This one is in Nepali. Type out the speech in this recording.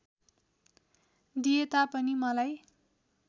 दिए तापनि मलाई